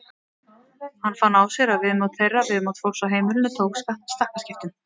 Hann fann á sér að viðmót þeirra, viðmót fólks á heimilinu tók stakkaskiptum.